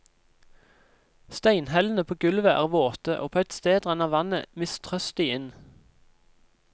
Steinhellene på gulvet er våte, og på ett sted renner vannet mistrøstig inn.